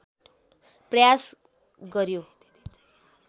प्रयास गर्‍यो